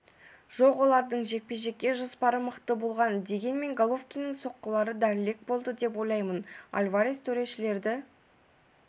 жоқ олардың жекпе-жекке жоспары мықты болған дегенмен головкиннің соққылары дәлірек болды деп ойлаймын альварес төрешілерді